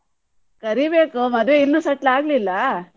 ಕರಿಬೇಕು ಮದ್ವೆ ಇನ್ನು settle ಆಗ್ಲಿಲ್ಲ.